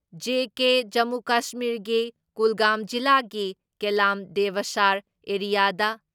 JK. Jammu ꯀꯁꯃꯤꯔꯒꯤ ꯀꯨꯜꯒꯥꯝ ꯖꯤꯂꯥꯒꯤ ꯀꯦꯂꯥꯝ ꯗꯦꯕꯁꯥꯔ ꯑꯦꯔꯤꯌꯥꯗ